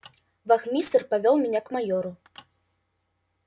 вахмистр повёл меня к майору